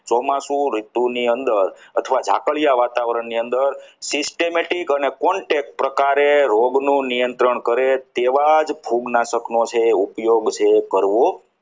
ચોમાસુ ઋતુની અંદર અથવા ઝાકડિયા વાતાવરણ ની અંદર systematic અને contact રોગનું નિયંત્રણ છે તેવા જ ફૂગનાશકનો છે ઉપયોગ છે કરવો